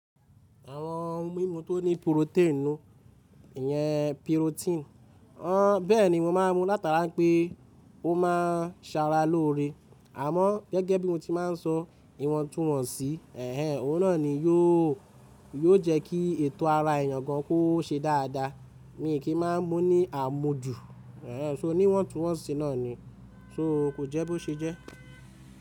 Àwọn mímu tó ní purotẹ́ẹ̀nu, ìyẹn purotín, ọ́ bẹ́ẹ̀ni mo máa ń mu látara pé ó máa ń sára lóore. Àmọ́ gẹ́gẹ́ bí mo ti máa ń sọ ìwọ̀ntúnwọ̀nsì, ẹ̀hen òun náà ni yóò, yóò jẹ́ kí ètò ara èèyàn gan kó ṣe dáadáa. Mi kì í máa ń mú ní àmujù. Ẹ̀hen ṣo ní ìwọ̀ntúnwọ̀nsì náà ni. Ṣo kò jẹ́ bó ṣe jẹ́?